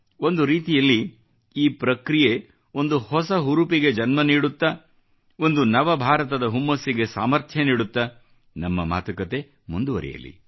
ಒಂದು ರೀತಿಯಲ್ಲಿ ಈ ಪ್ರಕ್ರಿಯೆ ಒಂದು ಹೊಸ ಹುರುಪಿಗೆ ಜನ್ಮ ನೀಡುತ್ತಾ ಒಂದು ನವ ಭಾರತದ ಹುಮ್ಮಸಿಗೆ ಸಾಮರ್ಥ್ಯ ನೀಡುತ್ತಾ ನಮ್ಮ ಮಾತುಕತೆ ಮುಂದುವರೆಯಲಿ